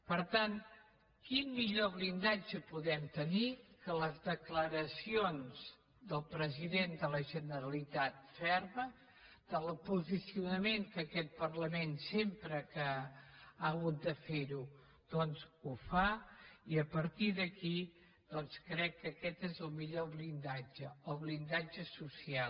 per tant quin millor blindatge podem tenir que les declaracions del president de la generalitat fermes del posicionament que aquest parlament sempre que ha hagut de fer ho doncs ho fa i a partir d’aquí doncs crec que aquest és el millor blindatge el blindatge social